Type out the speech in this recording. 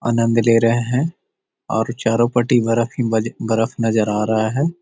आनंद ले रहे हैं और चारो पटी बर्फ ही ब बर्फ नजर आ रहे हैं।